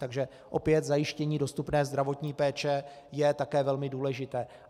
Takže opět zajištění dostupné zdravotní péče je také velmi důležité.